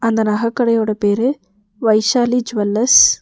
இந்த நக கடையோட பேரு வைஷாலி ஜூவல்லர்ஸ் .